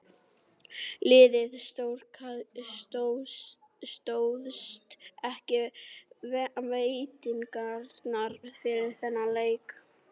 Liðið stóðst ekki væntingarnar fyrir þennan leik.